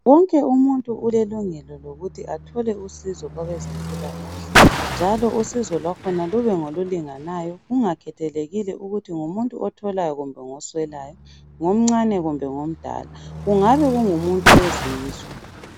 Wonke umuntu ulelungelo lokuthi athole usizo kwabe zempilakahle njalo usizo kwakhona lube ngolulinganayo kungakhethelekile ukuthi ngumuntu otholayo kumbe ngoswelayo ngomncane kumbe ngomdala . Kungabe kungumuntu wezizwe.